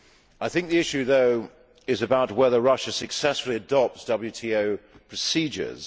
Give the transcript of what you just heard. I think the issue, though, is about whether Russia successfully adopts WTO procedures.